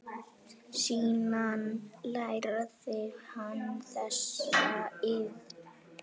Síðan lærði hann þessa iðn.